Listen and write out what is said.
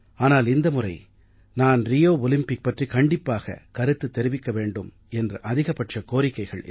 ஆனால் இந்த முறை நான் ரியோ ஒலிம்பிக் பற்றி கண்டிப்பாக கருத்து தெரிவிக்க வேண்டும் என்று அதிகப்பட்ச கோரிக்கைகள்